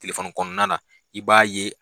kɔnɔna na i b'a ye